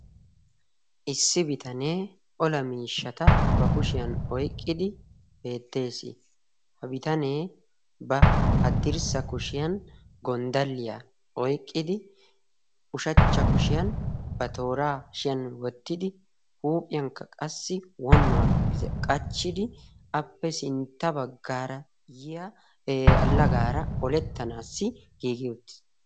issi bitanee ola miishata ba kushiyan oyqqidi beettees ha bitanee ba haddirssa kushiyan gonddaliyaa oyqqidi ushachcha kushiyan ba tooraa hashiyan wottidi huuphiyankka qassi wonnuwaa qachchidi appe sintta baggaara yiya allagaara olettanaassi giigi uttis